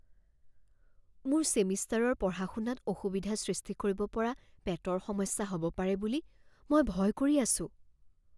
মোৰ ছেমিষ্টাৰৰ পঢ়া শুনাত অসুবিধা সৃষ্টি কৰিব পৰা পেটৰ সমস্যা হ'ব পাৰে বুলি মই ভয় কৰি আছোঁ।